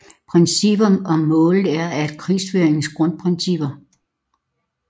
Princippet om målet er et af krigsføringens grundprincipper